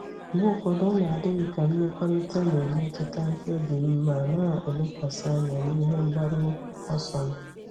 Mgbe ụfọdụ, ọ na-adị m ka mmekọrịta na-emetụta mkpebi m, ma m na-elekwasị anya n'ihe mgbaru ọsọ m.